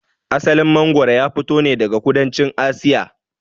Asalin mangwaro ya fito ne daga kudancin Asiya.